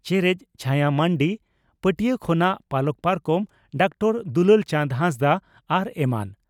ᱪᱮᱨᱮᱡ (ᱪᱷᱟᱭᱟ ᱢᱟᱱᱰᱤ) ᱯᱟᱹᱴᱤᱭᱟᱹ ᱠᱷᱚᱱᱟᱜ ᱯᱟᱞᱟᱠ ᱯᱟᱨᱠᱚᱢ (ᱰᱚᱠᱴᱚᱨ ᱫᱩᱞᱟᱞ ᱪᱟᱸᱫᱽ ᱦᱟᱸᱥᱫᱟ) ᱟᱨ ᱮᱢᱟᱱ ᱾